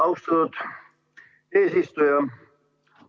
Austatud eesistuja!